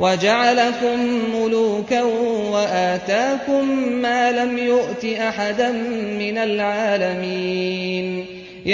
وَجَعَلَكُم مُّلُوكًا وَآتَاكُم مَّا لَمْ يُؤْتِ أَحَدًا مِّنَ الْعَالَمِينَ